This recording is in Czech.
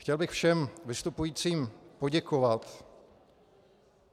Chtěl bych všem vystupujícím poděkovat.